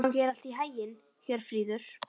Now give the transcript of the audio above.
Gangi þér allt í haginn, Hjörfríður.